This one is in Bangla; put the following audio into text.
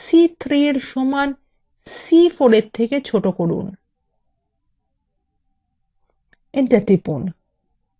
এখন শর্তটি পরিবর্তন করে c3এর সমান c4এর থেকে ছোট করুন